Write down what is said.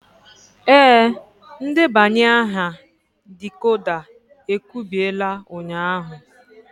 Ee, ndebanye aha decoder e kubiela ụnyahụ.